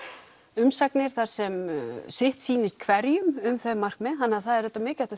umsagnir þar sem sitt sýnist hverjum um þau markmið þannig að það er auðvitað mikilvægt að